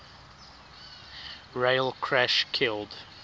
rail crash killed